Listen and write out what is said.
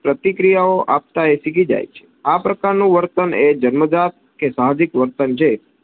પ્રતિક્રિયાઓ આપતા એ શીખી જાય છે. આ પ્રકાર નું વર્તન એ જન્મજાત કે સાહજિક વર્તન છે.